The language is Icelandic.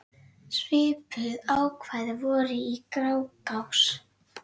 Svipuð ákvæði voru í Grágás.